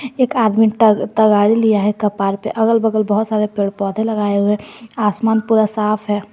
एक आदमी त तगाड़ी लिया है कपार पर अगल बगल बहुत सारे पेड़ पौधे लगाए हुए आसमान पूरा साफ है।